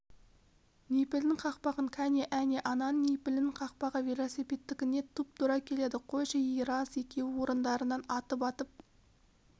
нипельдің қақпағын кәне әне ананың нипелінің кақпағы велосипедтікіне тұп-тура келеді қойшы ей рас екеуі орындарынан атып-атып